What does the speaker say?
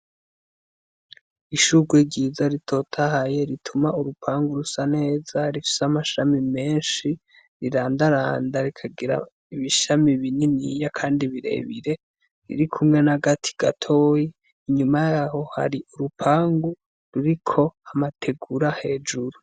Ishurwe ryiza ritotahaye ,rituma urupangu rusa neza ,rifise amashami menshi riranda randa ,rikagira ibishami bininyai Kandi birebire ririkumwe nagati gatoya inyuma yaho hari urupangu ruriko amategura hejuru.